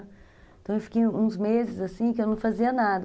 Então, eu fiquei uns meses assim, que eu não fazia nada.